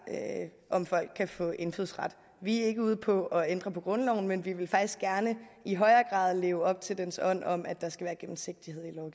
om folk kan få indfødsret vi er ikke ude på at ændre på grundloven men vi vil faktisk gerne i højere grad leve op til dens ånd om at der skal være gennemsigtighed